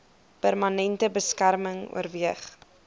permanente beskerming oorweeg